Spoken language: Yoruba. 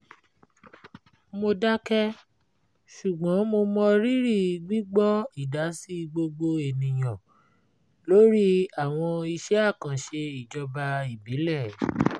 mo dákẹ́ ṣùgbọ́n mo mọ rírí gbígbọ́ ìdásí gbogbo ènìyàn lórí àwọn iṣẹ́ àkànṣe ijoba ìbílẹ̀